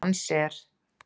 Dans er?